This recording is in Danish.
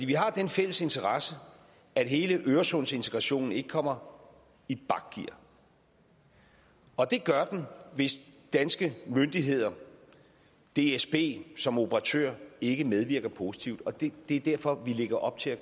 vi har den fælles interesse at hele øresundsintegrationen ikke kommer i bakgear og det gør den hvis danske myndigheder dsb som operatør ikke medvirker positivt det er derfor vi lægger op til at